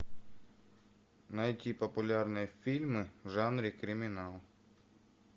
найти популярные фильмы в жанре криминал